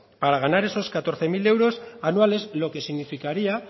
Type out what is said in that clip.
para ganar esos catorce mil euros anuales lo que significaría